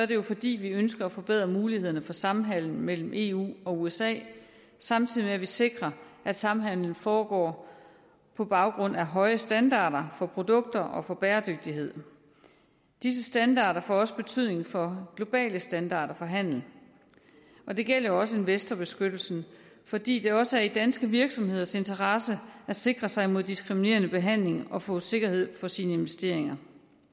det jo fordi vi ønsker at forbedre mulighederne for samhandel mellem eu og usa samtidig med at vi sikrer at samhandelen foregår på baggrund af høje standarder for produkter og for bæredygtighed disse standarder får også betydning for globale standarder for handel det gælder også investorbeskyttelsen fordi det også er i danske virksomheders interesse at sikre sig imod diskriminerende behandling og få sikkerhed for sine investeringer